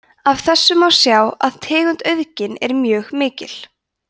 af þessu má sjá að tegundaauðgin er mjög mikil